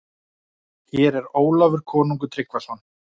Hér er Ólafur konungur Tryggvason.